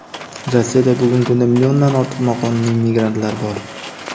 Rossiyada bugungi kunda milliondan ortiq noqonuniy migrantlar bor.